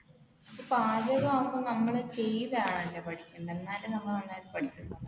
പാചകമാകുമ്പോൾ നമ്മൾ ചെയ്താണല്ലേ പഠിക്കുന്നത്